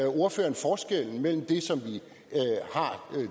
ordføreren forskellen mellem det som vi